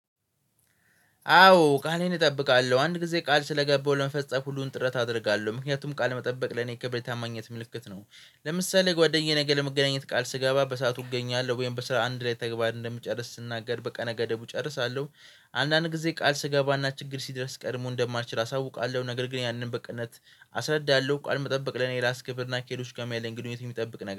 አዎ ቃሌን እጠብቃለሁ። አንድ ጊዜ ቃል ስለገባሁ ለመፈጸም ሁሉን ጥረት አደርጋለሁ። ምክንያቱም ቃል መጠበቅ ለኔ ክብር የታማኝነት ምልክት ነው። ለምሳሌ ጓደኛዬ ነገ ለመገናኘት ቃል ስገባ በሰአቱ እገኛለሁ ወይም በስራ አንድ ላይ ተግባር እንደምጨርስ ስናገር በቀነ ገደቡ እጨርሳለሁ። አንዳንድ ጊዜ ቃል ስገባና ችግር ሲድረስ ቀድሞ እንደማልችል አሳውቃለሁ። ነገር ግን ያንን በቅነት አስረዳለሁ። ቃልን መጠበቅ ለኔ ራሱ ክብር እና ከሌሎች ጋርም ያለኝ ግንኙነት የሚጠብቅ ነገር